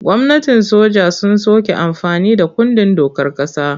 Gwamnatin soja sun soke amfani da kundin dokar ƙasa.